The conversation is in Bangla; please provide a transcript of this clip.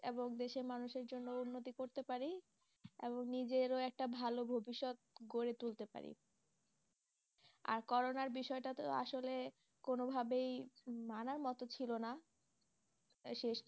এবং দেশের মানুষের জন্য উন্নতি করতে পারি এবং নিজেরও একটা ভালো ভবিষ্যৎ গড়ে তুলতে পারি আর করোনার বিষয়টা তো আসলে কোনোভাবেই মানার মতো ছিল না তাই শেষ